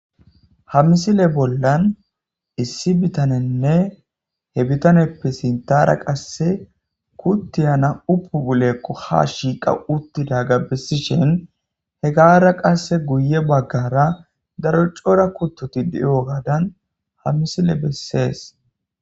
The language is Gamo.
ha misile bollan issi bitanenne he bitaneppe sintara qasse kutti yana upuulekqo ha shiiqa uttida gabbessishen he gara qasse guye baggara daro cora kuttoti de7o gaadan ha misile bessees